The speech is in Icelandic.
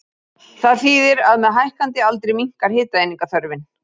Það þýðir að með hækkandi aldri minnkar hitaeiningaþörfin.